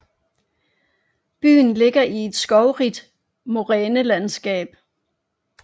Byen ligger i et skovrigt morænelandskab